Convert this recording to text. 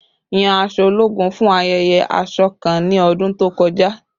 Yan aṣọ ologun fun ayẹyẹ aṣọ kan ni ọdun to kọja